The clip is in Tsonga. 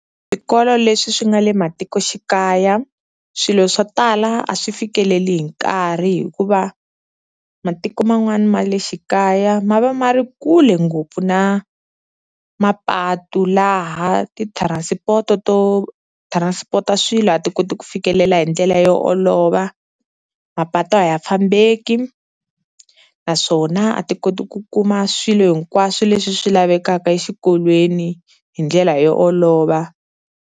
Swikolo leswi swi nga le matikoxikaya swilo swo tala a swi fikeleli hi nkarhi hikuva matiko man'wana ma le xikaya ma va ma ri kule ngopfu na mapatu laha ti-transport to transport-a swilo a ti koti ku fikelela hi ndlela yo olova, mapatu a ya fambeki naswona a ti koti ku kuma swilo hinkwaswo leswi swi lavekaka exikolweni hi ndlela yo olova.